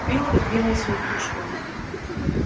билл отодвинул свою кружку